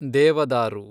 ದೇವದಾರು